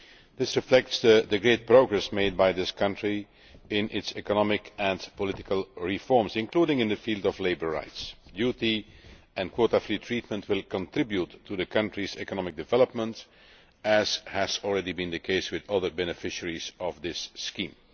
This reflects the great progress made by this country in its economic and political reforms, including in the field of labour rights. Duty and quota free treatment will contribute to the country's economic development, as has already been the case with other beneficiaries of this scheme.